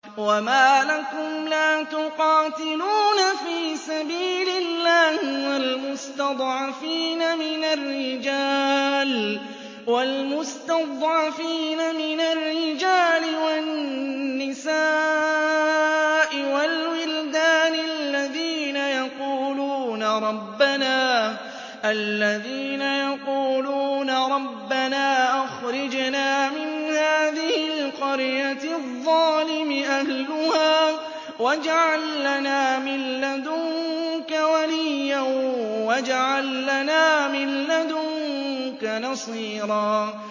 وَمَا لَكُمْ لَا تُقَاتِلُونَ فِي سَبِيلِ اللَّهِ وَالْمُسْتَضْعَفِينَ مِنَ الرِّجَالِ وَالنِّسَاءِ وَالْوِلْدَانِ الَّذِينَ يَقُولُونَ رَبَّنَا أَخْرِجْنَا مِنْ هَٰذِهِ الْقَرْيَةِ الظَّالِمِ أَهْلُهَا وَاجْعَل لَّنَا مِن لَّدُنكَ وَلِيًّا وَاجْعَل لَّنَا مِن لَّدُنكَ نَصِيرًا